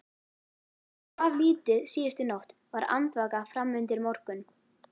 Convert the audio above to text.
Hann svaf lítið síðustu nótt, var andvaka fram undir morgun.